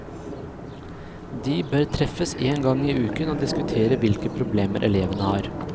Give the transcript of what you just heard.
De bør treffes en gang i uken og diskutere hvilke problemer elevene har.